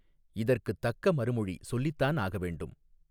இதற்குத் தக்க மறுமொழி சொல்லித்தான் ஆகவேண்டும்.